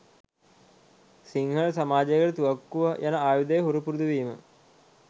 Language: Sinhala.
සිංහල සමාජයට තුවක්කුව යන ආයුධය හුරු පුරුදුවීම